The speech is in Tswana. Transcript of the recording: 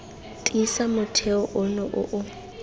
tiisa motheo ono o o